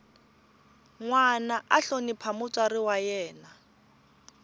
nwana a hlonipha mutswari wa yena